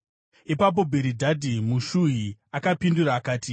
Ipapo Bhiridhadhi muShuhi akapindura akati: